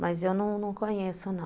Mas eu não conheço, não.